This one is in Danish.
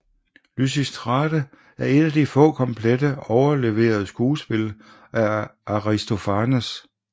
Lysistrate er et af de få komplette overleverede skuespil af Aristofanes